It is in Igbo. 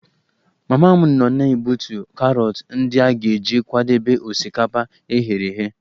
Mama m nọ na-egbutu karọt ndị a ga-eji kwadebe osikapa e ghere eghe